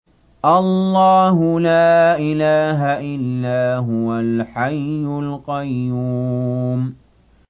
اللَّهُ لَا إِلَٰهَ إِلَّا هُوَ الْحَيُّ الْقَيُّومُ